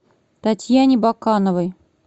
татьяне бакановой